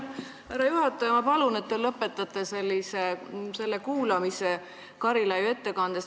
Härra juhataja, ma palun, et te lõpetate selle Karilaidi ettekande kuulamise siin.